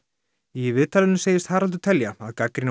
í viðtalinu segist Haraldur telja að gagnrýni